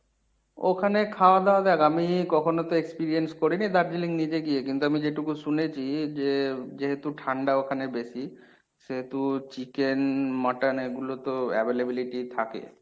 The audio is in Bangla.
ওখানে খাওয়া দাওয়া আমি কখনো তো experience করিনি দার্জিলিং নিজে গিয়ে কিন্তু আমি যেটুকু শুনেছি যে যেহেতু ঠান্ডা ওখানে বেশি সেহেতু chicken, mutton এগুলো তো availability থাকে।